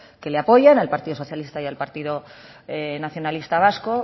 que le apoyan al partido socialista y al partido nacionalista vasco